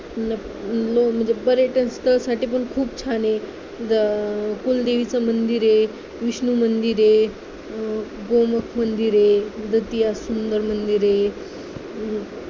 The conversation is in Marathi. न नाही म्हणजे पर्यटन स्थळासाठी पण खूप छान आहे कुलदेवीचं मंदिर आहे विष्णू मंदिर आहे गोमुख मंदिर आहे सुंदर मंदिर आहे